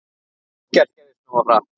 Ekkert gerðist nógu hratt!